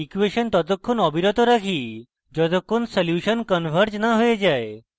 equation ততক্ষণ অবিরত রাখি যতক্ষণ সলিউসন converges না we যায়